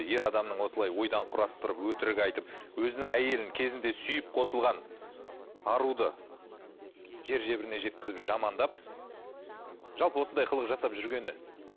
ер адамның осылай ойдан құрастырып өтірік айтып өзінің әйелін кезінде сүйіп қосылған аруды жер жебіріне жеткізіп жамандап жалпы осындай қылық жасап жүргені